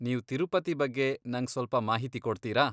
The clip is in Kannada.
ನೀವ್ ತಿರುಪತಿ ಬಗ್ಗೆ ನಂಗ್ ಸ್ವಲ್ಪ ಮಾಹಿತಿ ಕೊಡ್ತೀರಾ?